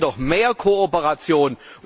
Da brauchen wir doch mehr Kooperation!